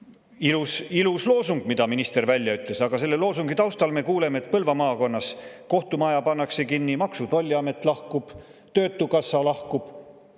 See on ilus loosung, mille minister välja ütles, aga selle loosungi taustal me kuuleme, et Põlva maakonnas kohtumaja pannakse kinni, Maksu‑ ja Tolliamet lahkub, töötukassa lahkub.